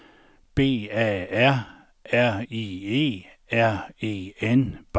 B A R R I E R E N